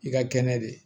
I ka kɛnɛ de